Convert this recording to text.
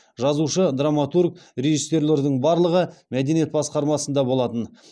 жазушы драматург режиссерлердің барлығы мәдениет басқармасында болатын